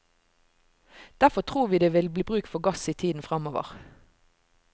Derfor tror vi det vil bli bruk for gass i tiden framover.